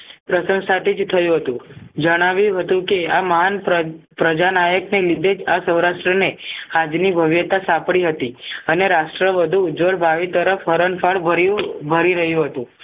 પ્રસંશાથી જ થયું હતું જણાવ્યું હતું કે આ મહાન પ્ર પ્રજાના એકને લીધે સૌરાષ્ટ્રને આજની ભવ્યતા સાંપડી હતી અને રાષ્ટ્ર વધુ ઉજ્વળ ભાવિ તરફ હરણ ફળ ભર્યું ભરી રહ્યું હતું